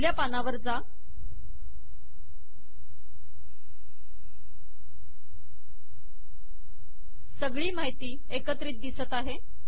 पहिल्या पानावर जा सगळी माहिती एकत्रित दिसते आहे